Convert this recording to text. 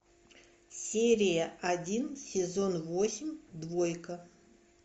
серия один сезон восемь двойка